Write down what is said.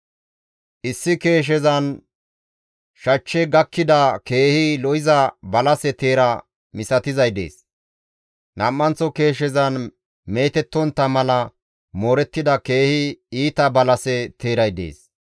Issi keeshezan shachche gakkida keehi lo7iza balase teera misatizay dees. Nam7anththo keeshezan meetettontta mala moorettida keehi iita balase teeray dees.